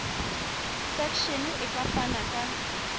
section e ka fana ka